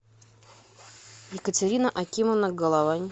екатерина акимовна головань